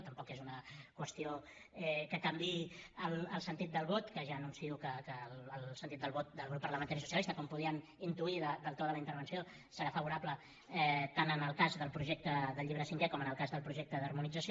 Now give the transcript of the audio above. tampoc és una qüestió que can viï el sentit del vot que ja anuncio que el sentit del vot del grup parlamentari socialista com podien intuir pel to de la intervenció serà favorable tant en el cas del projecte del llibre cinquè com en el cas del projecte d’harmonització